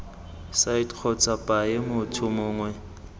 site kgotsa paye motho mongwe